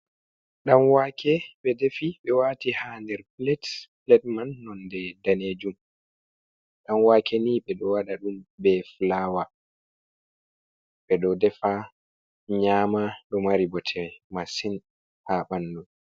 Ɗan wake ɓe defi ɓe wati ha nder plat, plat man nonde danejum, ɗan wake ni ɓe ɗo waɗa ɗum be fulawa, ɓe ɗo defa nyama, ɗo mari bote masin ha ɓanɗu.